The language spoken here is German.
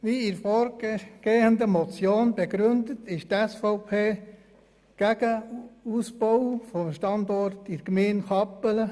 Wie bereits bezüglich der zuvor genannten Motion begründet, ist die SVP gegen den Ausbau von Standorten in der Gemeinde Kappelen.